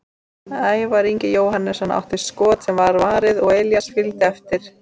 Ævar Ingi Jóhannesson átti skot sem var varið og Elías fylgdi eftir.